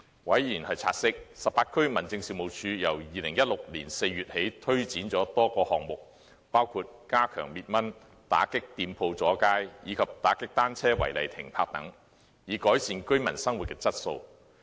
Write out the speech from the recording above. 委員察悉18區民政事務處由2016年4月起推展了多個項目，包括加強滅蚊、打擊店鋪阻街，以及打擊單車違例停泊等，以改善居民生活質素。